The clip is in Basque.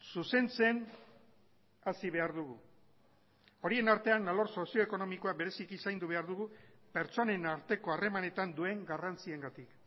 zuzentzen hasi behar dugu horien artean alor sozio ekonomikoa bereziki zaindu behar dugu pertsonen arteko harremanetan duen garrantziengatik